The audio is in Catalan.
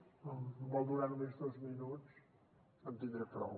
si em vol donar només dos minuts en tindré prou